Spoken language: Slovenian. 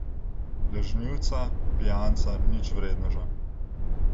Lažnivca, pijanca, ničvredneža.